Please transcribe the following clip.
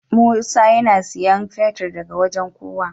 Musa yAna siyan fetir daka wajan kowa